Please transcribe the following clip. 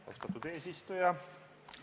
Austatud eesistuja!